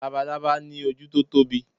labalábá ni oju ti o Tobi